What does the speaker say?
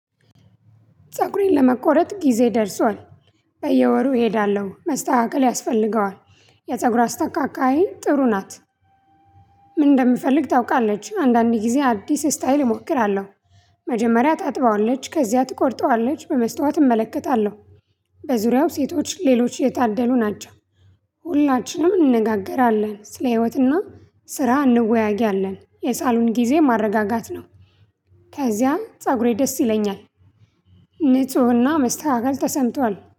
ፀጉሬን ለመቆረጥ ጊዜ ደርሷል፣ በየወሩ እሄዳለሁ፣ መስተካከል ያስፈልገዋል። የፀጉር አስተካካይ ጥሩ ናት ምን እንደምፈልግ ታውቃለች አንዳንዴ ጊዜ አዲስ ስታይል እሞክራለሁ። መጀመሪያ ጣጥበዋለች፣ ከዚያ ትቆርጠዋለች፣ በመስታወት እመለከታለሁ። በዙሪያው ሴቶች ሌሎች የታደሉ ናቸው። ሁላችንም እንነጋገራለን። ስለ ህይወትና ስራ እንወያያለን። የሳሎን ጊዜ ማረጋጋት ነው። ከዚያም ፀጉሬ ደስ ይለኛል! ንፁህና መስተካከል ተሰምቷል።